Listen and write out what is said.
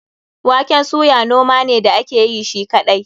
Waken suya noma ne da ake yi shi kaɗai.